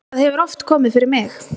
það hefur oft komið fyrir mig.